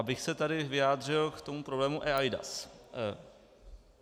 Abych se tady vyjádřil k tomu problému eIDAS.